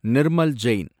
Nirmal Jain